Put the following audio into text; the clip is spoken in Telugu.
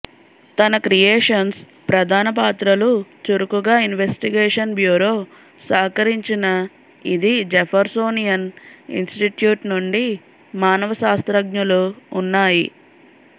తన క్రియేషన్స్ ప్రధాన పాత్రలు చురుకుగా ఇన్వెస్టిగేషన్ బ్యూరో సహకరించిన ఇది జెఫెర్సోనియన్ ఇన్స్టిట్యూట్ నుండి మానవ శాస్త్రజ్ఞులు ఉన్నాయి